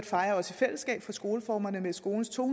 fejrer i fællesskab for skoleformerne med skolens to